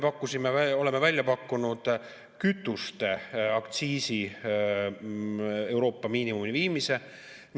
Me oleme välja pakkunud kütuste aktsiisi Euroopa miinimumini viimise.